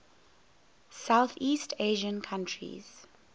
southeast asian countries